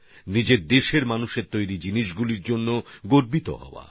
নিজের দেশের মানুষের তৈরি জিনিস নিয়ে গর্বিত হওয়া